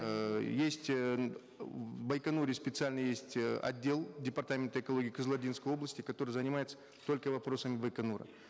эээ есть в байконуре специальный есть э отдел департамента экологии кызылординской области который занимается только вопросами байконура